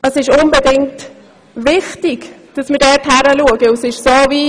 Es ist ausgesprochen wichtig, dass wir genau hinschauen.